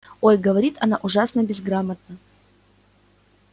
ой говорит она ужасно безграмотно